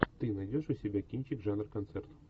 ты найдешь у себя кинчик жанр концерт